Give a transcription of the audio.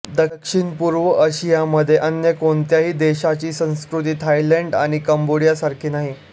दक्षिणपूर्व आशियामध्ये अन्य कोणत्याही देशाची संस्कृती थायलंड आणि कंबोडियासारखी नाही